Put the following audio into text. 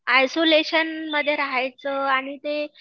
isolation मध्ये राहायचं आणि ते